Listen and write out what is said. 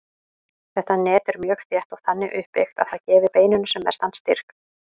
Þetta net er mjög þétt og þannig uppbyggt að það gefi beininu sem mestan styrk.